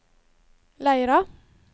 Leira